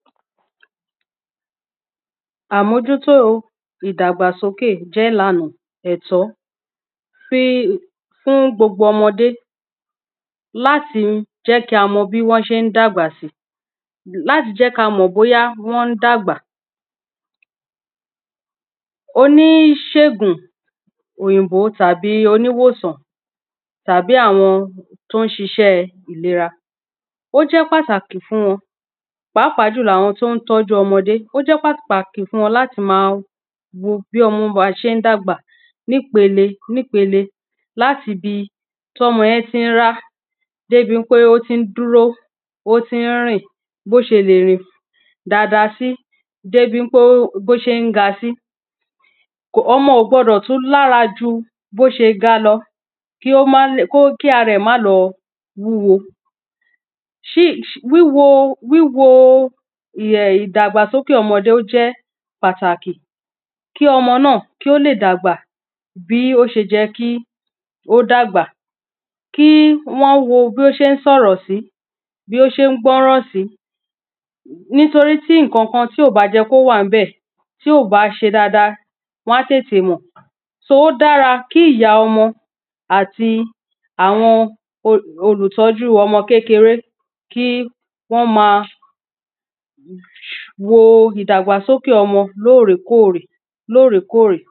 àmójútó ìdàgbà sókè jẹ́ ìlànà ẹ̀tọ́ fún gbogbo ọmọdé láti jẹ́ kí á mọ bí wọ́n ṣe dàgbà sí, láti jẹ́ kí a mọ̀ bóyá wọ́n dàgbà, oníṣègùn òyìnbó tàbí oníwòsàn, tàbí àwọn tọ́ ń ṣiṣẹ́ ìlera, ó jẹ́ pàtàkì fún wọn, pàápàá jùlọ àwọn tó n tọ́ju ọmọdé, ó jẹ́ pàtàkì fún wọ́n láti máa wo bí ọmọ bá ṣe ń dàgbà, nípele nípele láti bi tọ́mọ yẹn ti ń rá débi pé ó ti ń dúró, ó ti ń rìn, bí ó ṣe lè rìn dada sí, débi pé bí ó ṣe ń ga sí ọmọ ò gbọdọ̀ tún lára ju bí ó ṣe ga lọ, ki ara ẹ má lọ wúwo wíwo ìdàgbàsókè ọmọdé ó jẹ́ pàtàkì kí ọmọ náà kó lè dàgbà, bí ó ṣe yẹ kí ó dàgbà, kí wọ́n wo bí ó ṣé n sọ̀rọ̀ sí, bí ó ṣé n gbọ́ràn sí nítorí tí ǹkan kan tí ó bá yẹ́ kó wà níbẹ̀, tí ò bá ṣe dáadáa wọn á tètè mọ̀ ó dára kí ìya ọmọ àti àwọn olùtọ́jú ọmọ kékere kí wọ́n máa wo ìdàgbàsókè ọmọ lóòrè kóòrè.